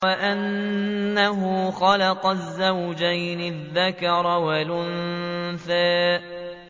وَأَنَّهُ خَلَقَ الزَّوْجَيْنِ الذَّكَرَ وَالْأُنثَىٰ